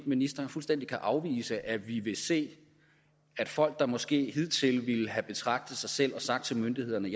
ministeren fuldstændig kan afvise at vi vil se at folk der måske hidtil ville have betragtet sig selv og sagt til myndighederne